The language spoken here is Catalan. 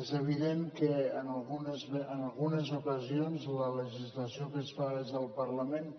és evident que en algunes ocasions la legislació que es fa des del parlament